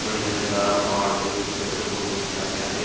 बढ़िया नज़ारा पहाड़ के ऊपर से फोटो खीचा गया है।